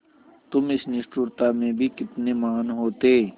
तुम इस निष्ठुरता में भी कितने महान् होते